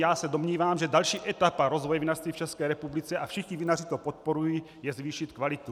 Já se domnívám, že další etapa rozvoje vinařství v České republice, a všichni vinaři to podporují, je zvýšit kvalitu.